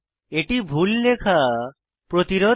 এটি ভুল লেখা প্রতিরোধ করে